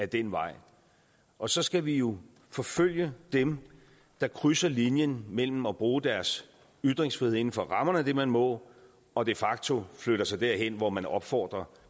den vej og så skal vi jo forfølge dem der krydser linjen mellem at bruge deres ytringsfrihed inden for rammerne af det man må og de facto flytter sig derhen hvor man opfordrer